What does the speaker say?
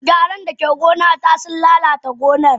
Garan dake gona ta sun lalata gonan.